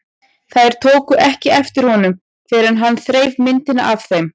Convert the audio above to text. Þær tóku ekki eftir honum fyrr en hann þreif myndina af þeim.